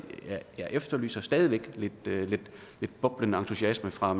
efterlyser stadig væk lidt boblende entusiasme fra